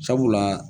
Sabula